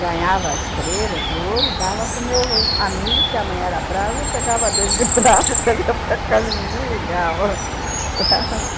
Ganhava estrela de ouro e dava para o meu amigo, que a mãe era brava, e eu pegava a dele de prato e trazia para casa e ninguém ligava, sabe?